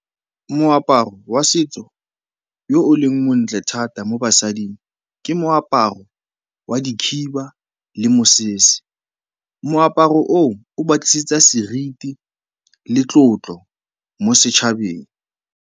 Moaparo wa setso yo o leng montle thata mo basading ke moaparo wa dikhiba le mosese. Moaparo oo, o ba tlisetsa seriti le tlotlo mo setšhabeng.